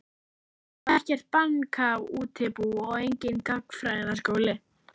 Þar var ekkert bankaútibú og enginn gagnfræðaskóli.